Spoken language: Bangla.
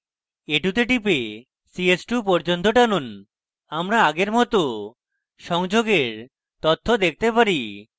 a2 তে টিপে ch2 পর্যন্ত টানুন আমরা আগের মত সংযোগের তথ্য দেখতে পারি